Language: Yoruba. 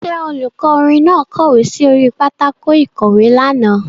Ṣé olùkọ́ orin náà kọ̀wé sí orí pátákó ìkọ̀wé lánàá.